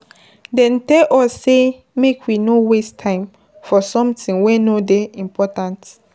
Dem tell us sey make we no waste time for sometin wey no dey important.